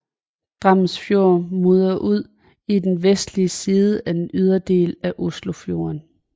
Drammensfjorden munder ud i den vestlige side af den ydre del af Oslofjorden